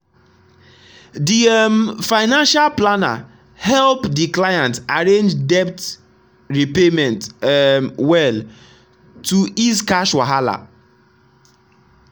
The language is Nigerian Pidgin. the um financial planner help the client arrange debt repayment um well to ease cash wahala.